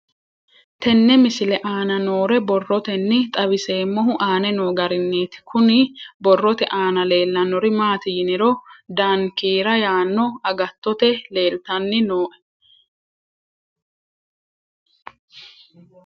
Tenne misile aana noore borroteni xawiseemohu aane noo gariniiti. Kunni borrote aana leelanori maati yiniro dankiira yaano agatooto leeltanni nooe.